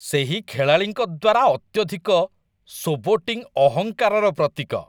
ସେହି ଖେଳାଳିଙ୍କ ଦ୍ୱାରା ଅତ୍ୟଧିକ ଶୋବୋଟିଂ ଅହଙ୍କାରର ପ୍ରତୀକ।